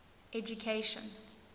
education